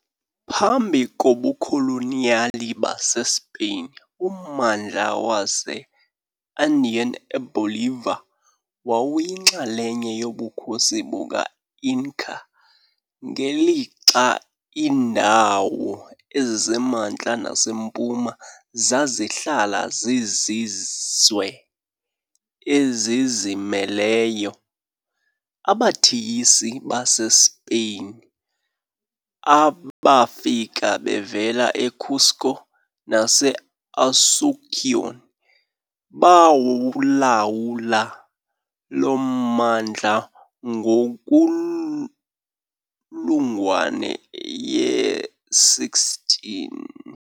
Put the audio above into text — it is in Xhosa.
Phambi kobukoloniyali baseSpain, ummandla wase-Andean eBolivia wawuyinxalenye yoBukhosi be-Inca, ngelixa iindawo ezisemantla nasempuma zazihlala zizizwe ezizimeleyo. "Abathiyisi" baseSpeyin abafika bevela eCusco naseAsunción bawulawula lo mmandla ngenkulungwane ye-16.